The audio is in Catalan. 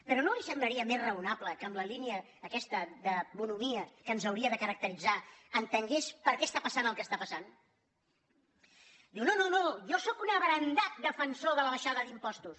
però no li semblaria més raonable que en la línia aquesta de bonhomia que ens hauria de caracteritzar entengués per què està passant el que està passant diu no no no jo sóc un abrandat defensor de l’abaixada d’impostos